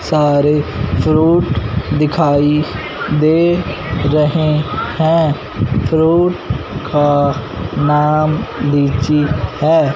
सारे फ्रूट दिखाई दे रहे हैं फ्रूट का नाम लीची है।